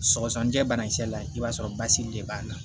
Sɔgɔsɔgɔnijɛ banakisɛ la i b'a sɔrɔ basigi de b'a la